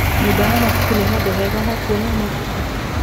Nyũmba ya mabuku nĩ handũ hega ha kuona mabuku?